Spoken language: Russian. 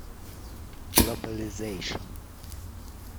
глобализейшн